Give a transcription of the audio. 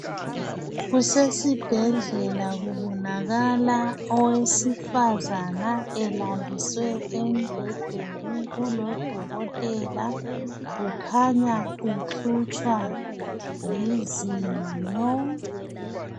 Kusesibhedlela kubonakala owesifazana elaliswe embhedeni kulodokotela ukhanya uhlutshwa lizinyo